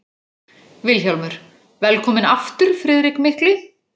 VILHJÁLMUR: Velkominn aftur, Friðrik mikli!